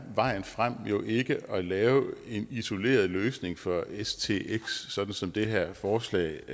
vejen frem jo ikke at lave en isoleret løsning for stx sådan som det her forslag